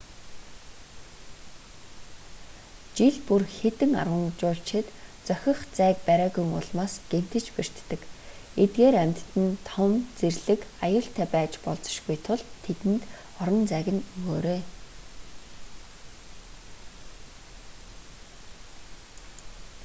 жил бүр хэдэн арван жуулчид зохих зайг бариагүйн улмаас гэмтэж бэртдэг эдгээр амьтад нь том зэрлэг аюултай байж болзошгүй тул тэдэнд орон зайг нь өгөөрэй